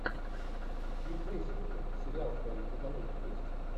ким бейсингер сериал в твоем каталоге есть